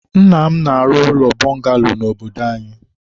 nna m na-arụ ụlọ bọngalo na obodo anyị.